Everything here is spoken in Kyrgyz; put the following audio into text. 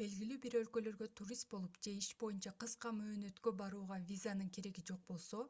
белгилүү бир өлкөлөргө турист болуп же иш боюнча кыска мөөнөткө барууга визанын кереги жок болсо